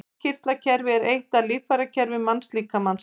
Innkirtlakerfi er eitt af líffærakerfum mannslíkamans.